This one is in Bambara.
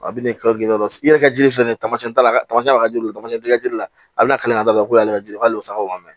A bɛ na i ka yɔrɔ girin dɔ la i yɛrɛ ka jiri filɛ nin ye tamasiyɛn la tamasiyɛn ka di u ye tamasiyɛn jira la a bɛna kala de ko ale ka ji k'ale bɛ sakaw wari minɛ